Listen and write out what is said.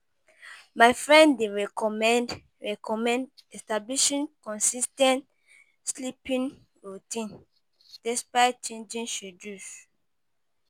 My friend dey recommend recommend establishing consis ten t sleeping routine despite changing schedules.